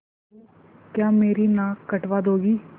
बहू क्या मेरी नाक कटवा दोगी